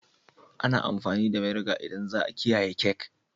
Ana amfani da vinegar idan za'a kiyaye cake.